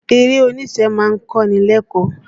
Eré oníṣe ma ń kọ́ni lẹ́kọ̀ọ́.